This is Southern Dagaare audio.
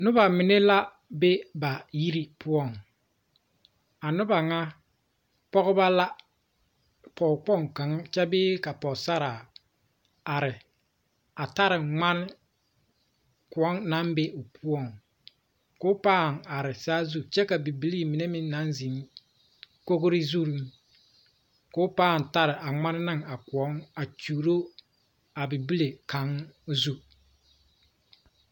Noba mine la be ba yiri poɔŋ a noba ŋa pɔgeba la pɔgekpoŋ kaŋa kyɛ bee pɔgesaraa are a taa ŋmane koɔ naŋ be o poɔŋ ka o paa are saazu kyɛ ka bibilii mine naŋ zeŋ kogre zuŋ ko o paa taa a ŋmane ne a koɔ a kyuuro a bibile kaŋ zu.